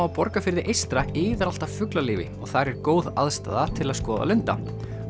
á Borgarfirði eystra iðar allt af fuglalífi og þar er góð aðstaða til að skoða lunda